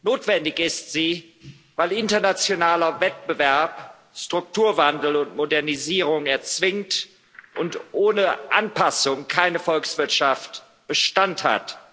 Notwendig ist sie, weil internationaler Wettbewerb Strukturwandel und Modernisierung erzwingt, und ohne Anpassungen keine Volkswirtschaft Bestand hat.